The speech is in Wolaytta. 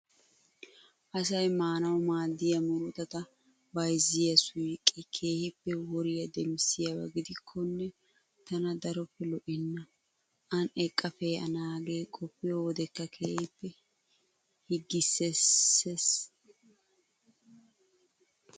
Asayi maanawu maaddiyaa murutata bayizziyaa suyiqee keehippe woriyaa demissiyaaba gidikkonne tana daroppe lo''ennaa. An eqqa pee'anaage qoppiyoo wodekkka keehippe higgisses.